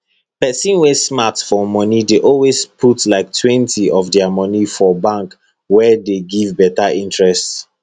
person wey smart for moni dey always put liketwentyof dia moni for bank wey dey give beta interest